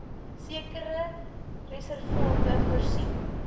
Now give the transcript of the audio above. sekere reservate voorsien